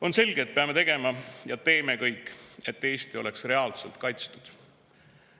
On selge, et peame tegema ja teemegi kõik, et Eesti oleks reaalselt kaitstud.